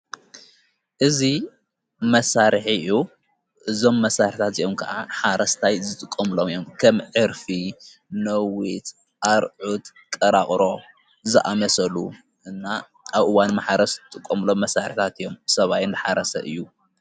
እዙ መሣርሕ እዩ እዞም መሣርታት ኦም ከዓ ሓረስታይ ዝትቆምሎም እዮም ከም ዕርፊ ነዊት ኣርዑት ቀራቕሮ ዝኣመሰሉ እና ኣብኡዋን መሓረስ ዝእጥቖምሎም መሣርሕታት እዮም ሰብይን ተሓረሰ እዩ::